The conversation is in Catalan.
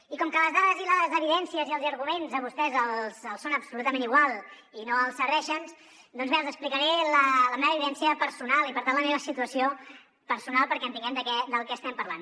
i com que les dades i les evidències i els arguments a vostès els són absolutament igual i no els serveixen doncs bé els explicaré la meva vivència personal i per tant la meva situació personal perquè entenguem del que estem parlant